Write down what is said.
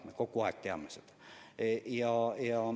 Me kogu aeg teame seda.